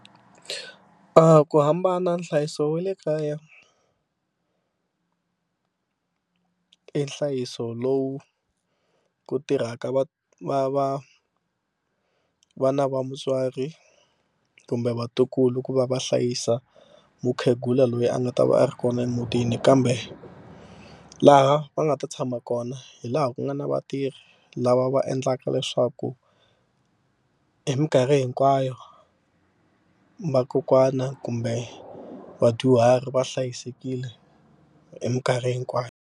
Ku hambana nhlayiso wa le kaya i nhlayiso lowu ku tirhaka va va va vana va mutswari kumbe vatukulu ku va va hlayisa mukhegula loyi a nga ta va a ri kona emutini kambe laha va nga ta tshama kona hi laha ku nga na vatirhi hi lava va endlaka leswaku hi mikarhi hinkwayo vakokwana kumbe vadyuhari va hlayisekile hi mikarhi hinkwayo.